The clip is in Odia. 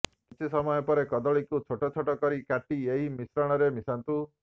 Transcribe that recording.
କିଛି ସମୟ ପରେ କଦଳୀକୁ ଛୋଟ ଛୋଟ କରି କାଟି ଏହି ମିଶ୍ରଣରେ ମିଶାନ୍ତୁ